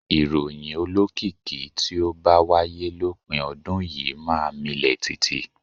Ìròyìn olókìkí tí ó bá wáyé lópin ọdún yìí máa milẹ̀ tìtì.